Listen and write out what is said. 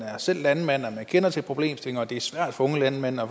selv er landmand at man kender til problemstillingen og at det er svært for unge landmænd at